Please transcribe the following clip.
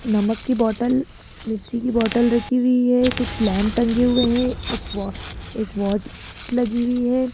नमक की बोटल मिर्ची की बोटल रखी हुई है कुछ लैंप टंगे हुए हैं एक व एक वाट लगी हुई है।